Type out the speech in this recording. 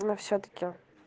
ну всё-таки